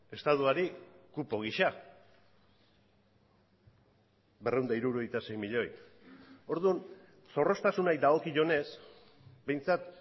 estatuari kupo gisa berrehun eta hirurogeita sei milioi orduan zorroztasunari dagokionez behintzat